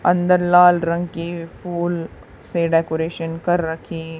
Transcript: अंदर लाल रंग के फूल से डेकोरेशन कर रखी--